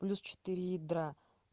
плюс четыре ядра